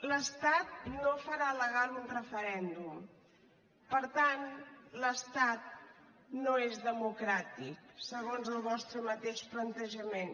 l’estat no farà legal un referèndum per tant l’estat no és democràtic segons el vostre mateix plantejament